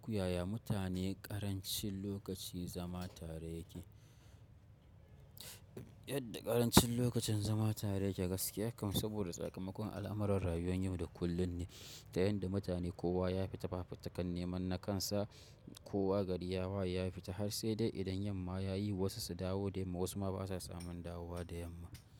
Yaya mutane ƙarancin lokaci zama tare yake? Yadda ƙarancin lokacin zama tare yake gaskiya kam saboda tsakamakon al'amuran rayuwan yau da kullum ne, ta yanda mutane kowa ya fita fafutukan neman na kansa, kowa gari ya waye, ya fita har sai dai idan yamma ya yi wasu su dawo dayamma wasu ma ba sa samun dawowa da yamma.